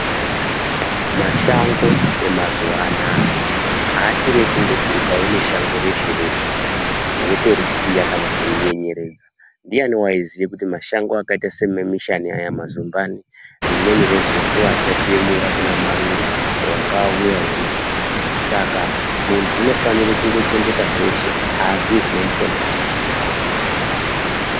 Mashango emazuwaanaya asiri ekungoti ukaona shango reshe reshe wotorisiya kana wotorinyenyeredza ndiyani waiziye kuti mashango akaite semamushani aya kana mazumbani rimweni rezuwa achatiemura kuna marure wanga auya uno saka muntunyi unofanire kuchengeta zveshe azi zvinomuponesa.